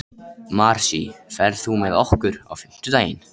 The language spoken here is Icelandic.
Marsý, ferð þú með okkur á fimmtudaginn?